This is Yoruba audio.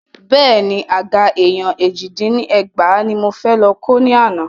Bẹ́ẹ̀ni, Àga èèyàn èjì dín ní ẹgbàá ní mo fẹ́ lọ kó ni àná.